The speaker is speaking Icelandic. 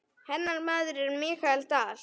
Hennar maður er Michael Dal.